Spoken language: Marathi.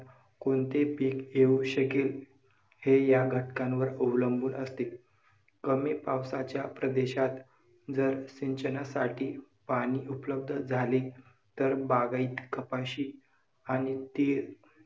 कोणते पीक येऊ शकेल हे या घटकांवर अवलंबून असतील. कमी पावसाच्या प्रदेशात जर सिंचनासाठी पाणी उपलब्ध झाले, तर बागायत कपाशी आणि तीळ